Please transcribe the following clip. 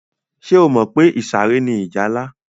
Ṣé o mọ̀ pé ìsàré ni ìjálá?